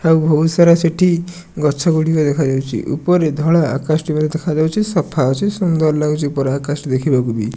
ଆଉ ବହୁତ ସାର ସେଠି ଗଛଗୁଡ଼ିକ ଦେଖାଯାଉଛି ଉପରେ ଧଳା ଆକାଶଟି ମଧ୍ଯ ଦେଖାଯାଉଛି ସଫା ଅଛି ସୁନ୍ଦର ଲାଗୁଛ ବଡ ଆକାଶ ଦେଖିବାକୁବି --